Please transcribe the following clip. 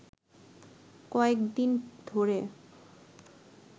কয়েক দিন ধরে